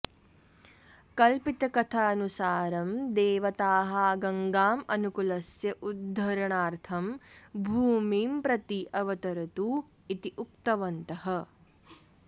कल्पितकथानुसारं देवताः गङ्गां मनुकुलस्य उद्धरणार्थं भूमिं प्रति अवतरतु इति उक्तवन्तः